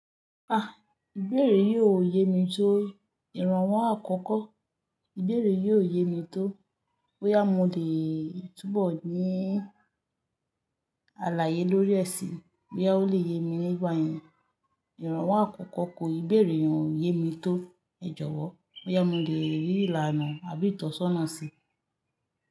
Ah! Ìbeẹ̀rẹ̀ yiò yé mi tó ìrànwọ́ àkọ́kọ̀. Ìbeẹ̀rẹ̀ yiò yé mi tó bóyá mo lè túbọ̀ ní àlàyé lórí ẹ̀ṣìn, bóyá ó lè yé mi nígbà yẹn. Ìrànwọ́ àkọ́kọ̀ kò ìbẹ̀rẹ̀ yen yé mi tó. Ẹ jọ̀wọ́, bóyá mo lè rí ìlànà àbí ìtọ́sọ́nà sí i.